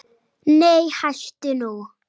Nei hættu nú!